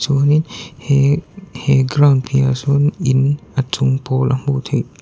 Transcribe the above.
chuanin he he ground piahah sawn in a chung pawl a hmuh theih.